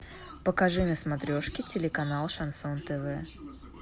покажи на смотрешке телеканал шансон тв